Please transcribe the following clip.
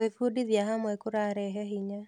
Gwĩbundithia hamwe kũrarehe hinya.